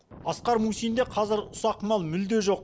асқар мусинде қазір ұсақ мал мүлде жоқ